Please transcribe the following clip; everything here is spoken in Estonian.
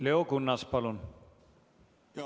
Leo Kunnas, palun!